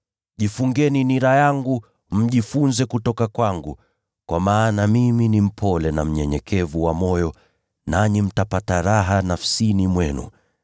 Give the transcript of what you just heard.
Jifungeni nira yangu, mjifunze kutoka kwangu, kwa maana mimi ni mpole na mnyenyekevu wa moyo, nanyi mtapata raha nafsini mwenu.